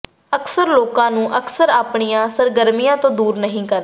ਅਕਸਰ ਲੋਕਾਂ ਨੂੰ ਅਕਸਰ ਆਪਣੀਆਂ ਸਰਗਰਮੀਆਂ ਤੋਂ ਦੂਰ ਨਹੀਂ ਕਰਦੇ